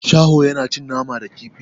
Shaho yana cin nama da kifi.